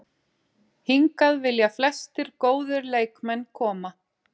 Hingað vilja flestir góðir leikmenn koma.